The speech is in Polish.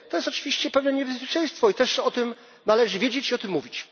To jest oczywiście pewne niebezpieczeństwo i też o tym należy wiedzieć i o tym mówić.